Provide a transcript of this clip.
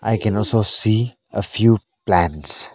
I can also see a few plants.